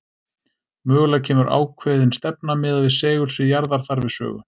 Mögulega kemur ákveðin stefna miðað við segulsvið jarðar þar við sögu.